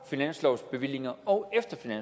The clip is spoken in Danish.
finanslovsbevillinger og